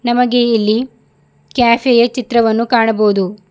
ನಮಗೆ ಇಲ್ಲಿ ಕೆಫೆ ಯ ಚಿತ್ರವನ್ನು ಕಾಣಬೋದು.